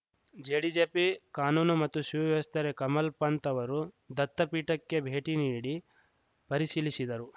ಜೆಡಿಜೆಪಿ ಕಾನೂನು ಮತ್ತು ಸುವ್ಯವಸ್ಥೆ ಕಮಲ್‌ಪಂತ್‌ ಅವರು ದತ್ತಪೀಠಕ್ಕೆ ಭೇಟಿ ನೀಡಿ ಪರಿಶೀಲಿಶಿದರು